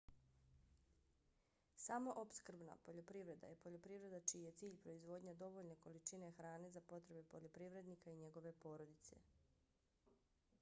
samoopskrbna poljoprivreda je poljoprivreda čiji je cilj proizvodnja dovoljne količine hrane za potrebe poljoprivrednika i njegove porodice